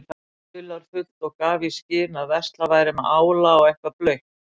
dularfullt og gaf í skyn að verslað væri með ála og eitthvað blautt.